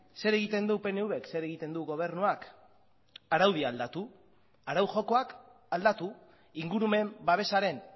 zer egiten du pnvk zer egiten du gobernuak araudia aldatu arau jokoak aldatu ingurumen babesaren